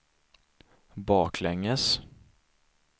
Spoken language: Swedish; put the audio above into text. baklänges